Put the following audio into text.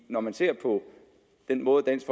når man ser på den måde dansk